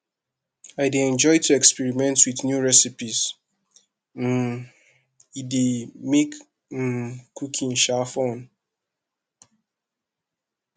i dey enjoy to experiment with new recipes um e dey make um cooking um fun